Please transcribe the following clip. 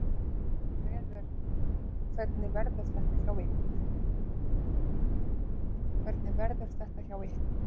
Hvernig verður þetta hjá ykkur?